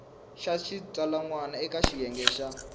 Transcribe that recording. xa xitsalwana eka xiyenge xa